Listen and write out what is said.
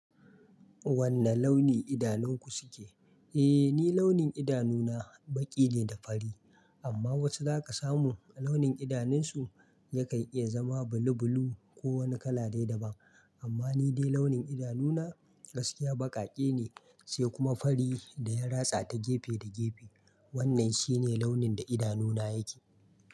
Wanne launi idanunku suke? Eh, ni launin idanuna baƙi ne da fari, amma wasu za ka samu launin idanunsu yakan iya zama bulubulu ko wani kala dai-daban. Amma ni dai launin idanuna gaskiya baƙaƙe ne sai kuma fari da ya ratsa ta gefe da gefe. Wannan shi ne launin da idanuna yake.